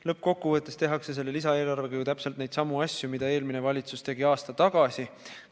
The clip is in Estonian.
Lõppkokkuvõttes tehakse selle lisaeelarvega ju täpselt neidsamu asju, mida eelmine valitsus tegi aasta tagasi.